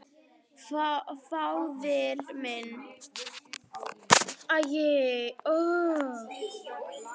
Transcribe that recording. Faðir minn.